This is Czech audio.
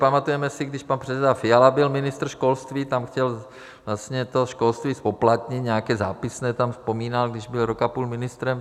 Pamatujeme si, když pan předseda Fiala byl ministr školství, tam chtěl vlastně to školství zpoplatnit, nějaké zápisné tam vzpomínal, když byl rok a půl ministrem.